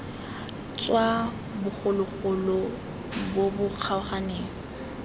tswa bogologolo bo bo kgaoganeng